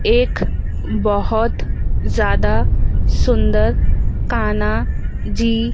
एक बहोत ज्यादा सुंदर कान्हा जी--